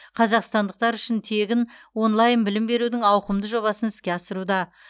қазақстандықтар үшін тегін онлайн білім берудің ауқымды жобасын іске асыруда